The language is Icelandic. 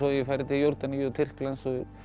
ég farið til Jórdaníu Tyrklands